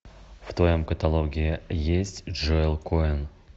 в твоем каталоге есть джоэл коэн